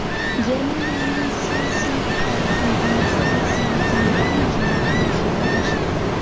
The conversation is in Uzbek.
Germaniyaning ThyssenKrupp kompaniyasi O‘zbekistonda kimyoviy majmua qurilishida qatnashadi.